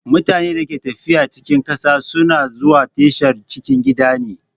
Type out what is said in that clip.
Mutanen da ke tafiya cikin ƙasa sun a zuwa ta tashar cikin gida ne.